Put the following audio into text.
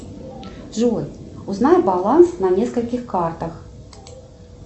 джой узнай баланс на нескольких картах